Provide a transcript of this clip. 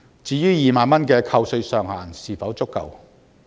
至於2萬元的扣稅上限是否足夠？